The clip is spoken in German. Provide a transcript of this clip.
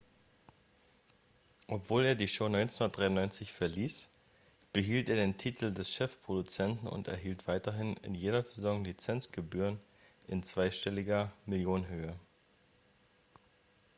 obwohl er die show 1993 verließ behielt er den titel des chefproduzenten und erhielt weiterhin in jeder saison lizenzgebühren in zweistelliger millionenhöhe